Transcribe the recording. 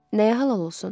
Nəyə halal olsun?